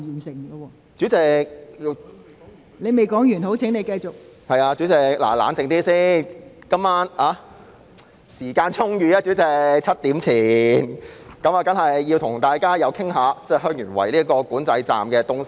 是的，代理主席，請先冷靜，今晚時間充裕，因此我在7時前當然要與大家談談香園圍邊境管制站這議題。